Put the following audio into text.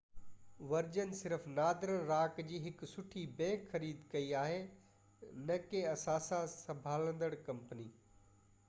version صرف Northern Rock جي هڪ سٺي بئنڪ' خريد ڪئي آهي نہ ڪي اثاثا سنڀاليندڙ ڪمپني